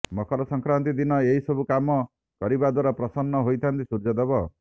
ମକର ସଂକ୍ରାନ୍ତି ଦିନ ଏହି ସବୁ କାମ କରିବା ଦ୍ୱାରା ପ୍ରସନ୍ନ ହୋଇଥାନ୍ତି ସୂର୍ଯ୍ୟଦେବ